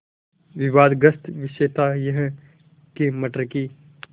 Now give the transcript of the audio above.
विवादग्रस्त विषय था यह कि मटर की